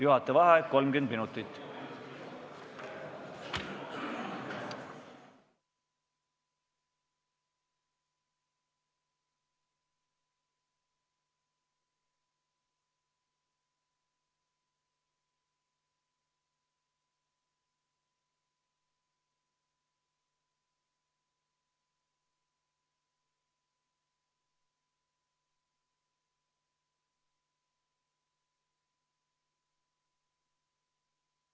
Juhataja vaheaeg 30 minutit.